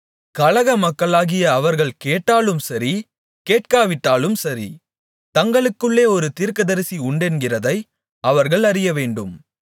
கலகமக்களாகிய அவர்கள் கேட்டாலும் சரி கேட்காவிட்டாலும் சரி தங்களுக்குள்ளே ஒரு தீர்க்கதரிசி உண்டென்கிறதை அவர்கள் அறியவேண்டும்